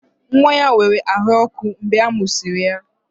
Nwa ya nwere ahụ ọkụ mgbe a mụsịrị ya